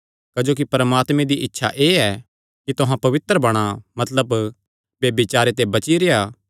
क्जोकि परमात्मे दी इच्छा एह़ ऐ कि तुहां पवित्र बणा मतलब ब्यभिचारे ते बची रेह्आ